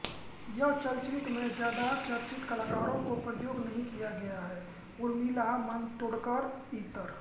यह चलचित्र मै ज्यादा चर्चित कलाकारौं को प्रयोग नहीं किया गया है उर्मिला मातोड्कर इतर